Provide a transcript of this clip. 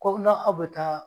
Ko na aw be taa